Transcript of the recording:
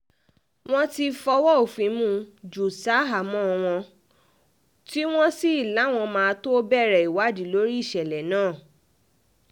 wọ́n ti fọwọ́ òfin mú un jù ṣahámọ́ wọn tí wọ́n sì láwọn máa tóó bẹ̀rẹ̀ ìwádìí lórí ìṣẹ̀lẹ̀ náà